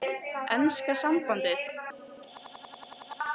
Enska sambandið?